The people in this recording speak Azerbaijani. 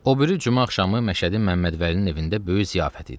O biri cümə axşamı Məşədi Məmmədvəlinin evində böyük ziyafət idi.